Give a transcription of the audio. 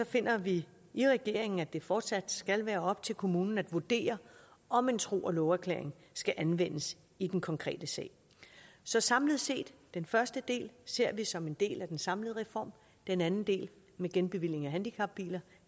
finder vi i regeringen at det fortsat skal være op til kommunen at vurdere om en tro og love erklæring skal anvendes i den konkrete sag så samlet set den første del ser vi som en del af den samlede reform den anden del med genbevilling af handicapbiler